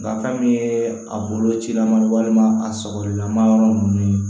Nga fɛn min ye a bolo cilan man ye walima a sɔgɔli lama yɔrɔ ninnu ye